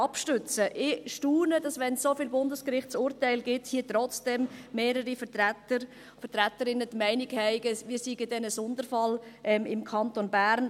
Ich staune, dass – auch wenn es so viele Bundesgerichtsurteile gibt – hier im Grossen Rat trotzdem mehrere Vertreter und Vertreterinnen die Meinung haben, wir im Kanton Bern seien dann ein Sonderfall.